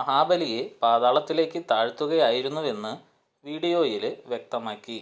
മഹാബലിയെ പാതാളത്തിലേക്ക് താഴ്ത്തുകയായിരുന്നുവെന്ന് വീഡിയോയില് വ്യക്തമാക്കി